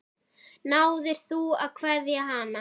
Náðir þú að kveðja hana?